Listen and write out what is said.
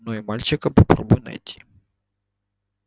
но и мальчика попробуй найти